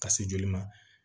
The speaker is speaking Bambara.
Ka se joli ma